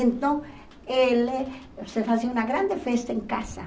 Então, ele se fazia uma grande festa em casa.